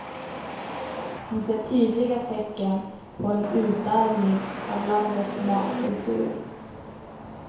Hon ser tydliga tecken på en utarmning av landets matkultur.